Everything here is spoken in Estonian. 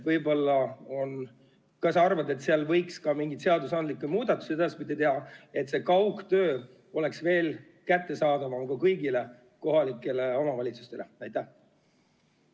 Kas sa arvad, et võiks edaspidi ka mingeid seadusandlikke muudatusi teha, et kaugtöö oleks kõigile kohalikele omavalitsustele veel kättesaadavam?